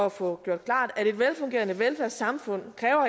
at få gjort klart at et velfungerende velfærdssamfund